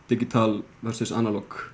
digital versus